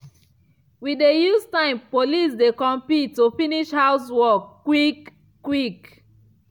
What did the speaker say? we dey use time police dey compete to finish housework quick-quick.